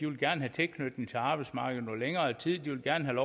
vil have tilknytning til arbejdsmarkedet i noget længere tid de vil gerne